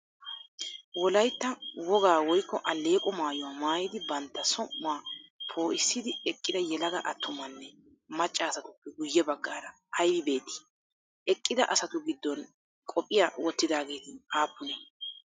Wolaytta wogaa woykko alleeqo maayuwaa maayidi bantta som'uwaa poo'issidi eqqida yelaga attumanne macca asatuppe guyye baggaara ayibi beettii? Eqqida asatu giddon qophiyaa wottidaageeti aappunee?